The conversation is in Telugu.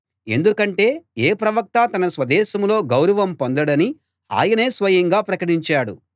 ఎందుకంటే ఏ ప్రవక్తా తన స్వదేశంలో గౌరవం పొందడని ఆయనే స్వయంగా ప్రకటించాడు